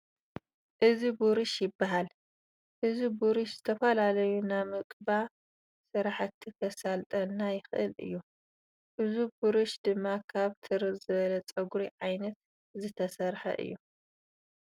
እዚ ቡሩሽ ይባሃል ። እዚ ቡሩሽ ንዝተፈላለዩ ናምቅባ ስራሕቲ ከሳልጠልና ይክእል እዩ። እዙ ቡሩሽ ድማ ካብ ትርር ዝበለ ፀጉሪ ዓይነት ዝተሰርሓ እዩ።